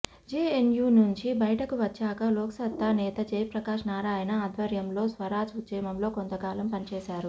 JNU నుంచి బయటికి వచ్చాక లోక్సత్తా నేత జయప్రకాశ్ నారాయణ ఆధ్వర్యంలో స్వరాజ్ ఉద్యమంలో కొంత కాలం పనిచేశారు